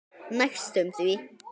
Næstum því.